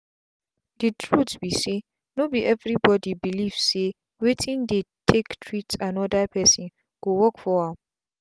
the truth be sayno be everybody belief say wetin dey take treat another person go work for am.